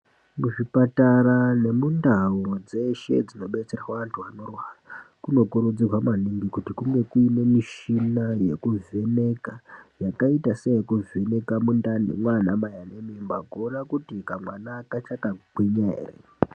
Muzvipatara nemundau dzeshe dzinodetserwa anthu anorwara kunokurudzirwa maningi kuti kunge kuine mishina yekuvheneka yakaita seyekuvheneka mundani mwaana Mai anemimba kuona kuti kamwana kachakagwinya ere.